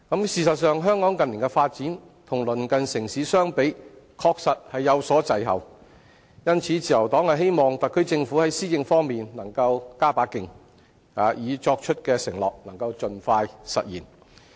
事實上，香港近年的發展，與鄰近城市相比，確實有所滯後，因此，自由黨希望特區政府在施政方面能夠加把勁，已作出的承諾能盡快兌現。